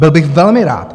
Byl bych velmi rád.